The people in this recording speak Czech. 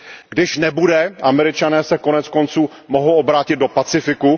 Když nebude, Američané se koneckonců mohou obrátit do Pacifiku.